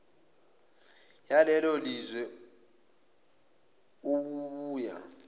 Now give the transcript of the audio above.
yalelo lizwe obubuya